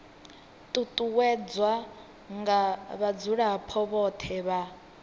ṱuṱuwedzwa nga vhadzulapo vhothe vha